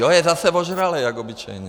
Jo, je zase vožralej jak obyčejně.